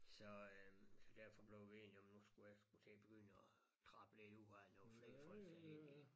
Så øh så derfor blev vi enige om at nu skulle jeg sgu til at begynde at trabbe lidt ud af nogen flere folk sat ind i